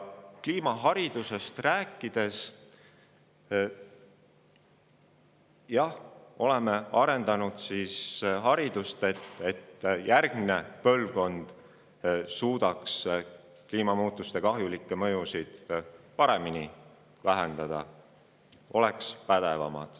Oleme kliimamuutusi, et järgmine põlvkond suudaks kliimamuutuste kahjulikke mõjusid paremini vähendada ja oleks pädevam.